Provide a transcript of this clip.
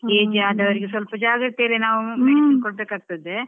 Age ಅದಾವ್ರಿಗೆ ಸ್ವಲ್ಪ ಜಾಗ್ರತೆಯಲ್ಲಿಯೇ ನಾವ್ medicine ಕೊಡಬೇಕಾಗ್ತದೆ.